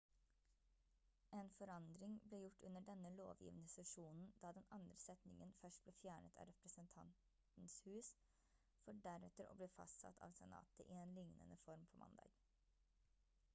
en forandring ble gjort under denne lovgivende sesjonen da den andre setningen først ble fjernet av representantenes hus for deretter å bli fastsatt av senatet i en lignende form på mandag